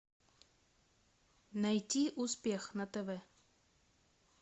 найти успех на тв